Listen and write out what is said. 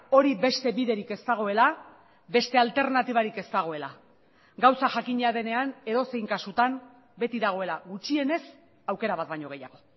hori beste biderik ez dagoela beste alternatibarik ez dagoela gauza jakina denean edozein kasutan beti dagoela gutxienez aukera bat baino gehiago